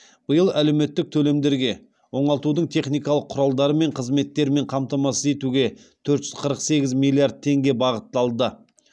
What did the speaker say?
биыл әлеуметтік төлемдерге оңалтудың техникалық құралдары мен қызметтермен қамтамасыз етуге төрт жүз қырық сегіз миллиард теңге бағытталды